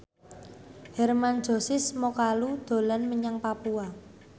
Hermann Josis Mokalu dolan menyang Papua